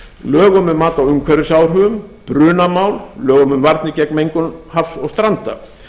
lögum um mat á umhverfisáhrifum brunamál lögum um varnir gegn mengun hafs og stranda